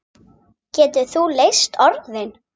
Getur þú leyst orðin?